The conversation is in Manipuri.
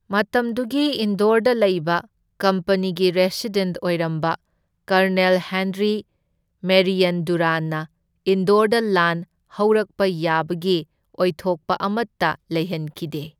ꯃꯇꯝꯗꯨꯒꯤ ꯏꯟꯗꯣꯔꯗ ꯂꯩꯕ ꯀꯝꯄꯅꯤꯒꯤ ꯔꯦꯁꯤꯗꯦꯟꯠ ꯑꯣꯏꯔꯝꯕ ꯀꯔꯅꯜ ꯍꯦꯟꯔꯤ ꯃꯦꯔꯤꯌꯟ ꯗꯨꯔꯥꯟꯅ ꯏꯟꯗꯣꯔꯗ ꯂꯥꯟ ꯍꯧꯔꯛꯄ ꯌꯥꯕꯒꯤ ꯑꯣꯏꯊꯣꯛꯄ ꯑꯃꯇ ꯂꯩꯍꯟꯈꯤꯗꯦ꯫